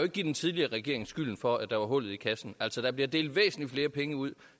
give den tidligere regering skylden for at der er hul i kassen altså der bliver delt væsentlig flere penge ud